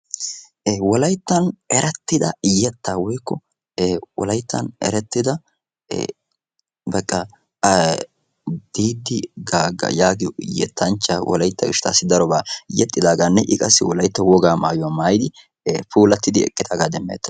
e wolayttan erettida yetta woykko wolayttan erettida baqqa a didi gaagga yaagiyo yettanchcha wolaytta gishshattassi darobaa yexxidaagaanne i qassi wolaytta wogaa maayuwaa maayidi puulattidi eqqidaagaa demmeeta.